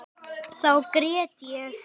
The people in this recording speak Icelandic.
Þá grét ég.